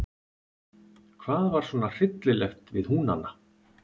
Hvað var svona hryllilegt við Húnana?